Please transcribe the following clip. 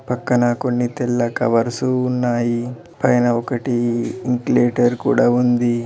పక్కన కొన్ని తెల్ల కవర్స్ ఉన్నాయి పైన ఒకటి వెంటిలేటర్ కూడా ఉంది.